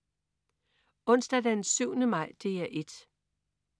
Onsdag den 7. maj - DR 1: